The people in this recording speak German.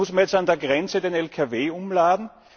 Muss man jetzt an der Grenze den Lkw umladen?